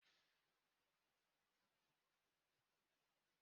ebee ka ị gbatara mmiri eji arụ ụlọ gị?